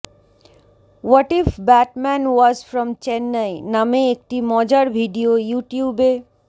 what if Batman was from Chennai নামে একটি মজার ভিডিও ইউটিউবে